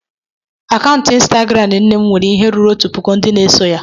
Akaụntụ ịnstagram nne m nwere ihe ruru otu puku ndị na-eso ya.